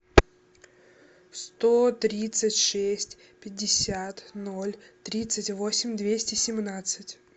сто тридцать шесть пятьдесят ноль тридцать восемь двести семнадцать